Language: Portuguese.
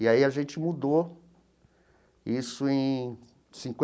E aí a gente mudou isso em